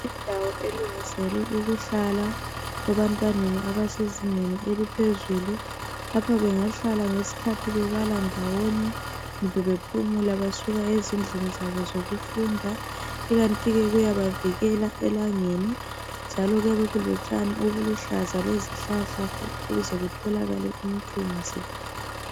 Indawo elungiselwe ukuhlala ebantwaneni abase zingeni eliphezulu .Lapha bengahlala ngesikhathi bebala ndawonye . Kumbe bephumula besuka ezindlini zabo zokufunda ikantike kuyabavikela elangeni .Njalo kuyabe kulotshani obuluhlaza lezihlahla ukuze kutholakale umthunzi .